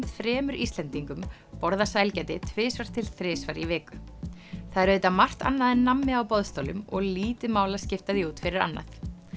þremur Íslendingum borða sælgæti tvisvar til þrisvar í viku það er auðvitað margt annað en nammi á boðstólum og lítið mál að skipta því út fyrir annað